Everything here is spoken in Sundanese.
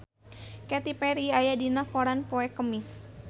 Katy Perry aya dina koran poe Kemis